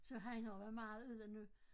Så han har jo været meget ude nu